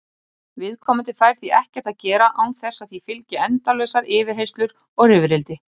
Viðkomandi fær því ekkert að gera án þess að því fylgi endalausar yfirheyrslur og rifrildi.